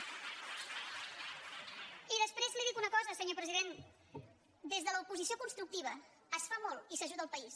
i després li dic una cosa senyor president des de l’oposició constructiva es fa molt i s’ajuda el país